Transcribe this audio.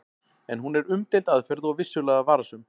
En hún er umdeild aðferð og vissulega varasöm.